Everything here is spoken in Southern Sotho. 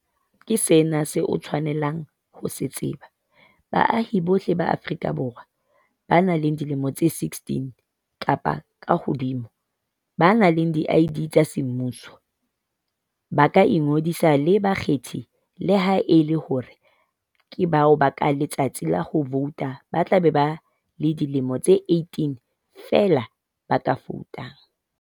Ke sena seo o tshwanelang ho se tseba- Baahi bohle ba Aforika Borwa ba nang le dilemo tse 16 kapa kahodimo, ba nang le di-ID tsa semmuso, ba ka ingodisa e le bakgethi le ha e le hore ke bao ka letsatsi la ho vouta ba tlabe ba le dilemo di 18 feela ba ka voutang.